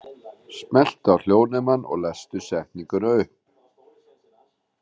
En hvað segir borgarstjóri?